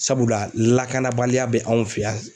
Sabula lakanabaliya bɛ anw fɛ yan